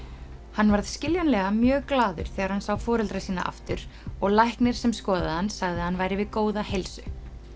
hann varð skiljanlega mjög glaður þegar hann sá foreldra sína aftur og læknir sem skoðaði hann sagði að hann væri við góða heilsu